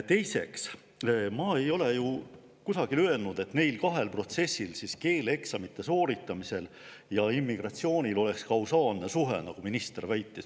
Teiseks, ma ei ole ju kusagil öelnud, et neil kahel protsessil, keeleeksamite sooritamisel ja immigratsioonil, oleks kausaalne suhe, nagu minister väitis.